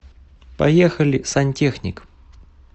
поехали сантехник